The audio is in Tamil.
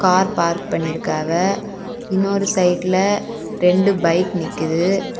கார் பார்க் பண்ணிருக்காவ இன்னொரு சைடுல ரெண்டு பைக் நிக்குது.